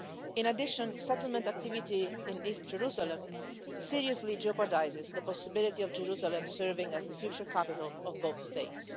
In addition, settlement activity in East Jerusalem seriously jeopardises the possibility of Jerusalem serving as the future capital of both states.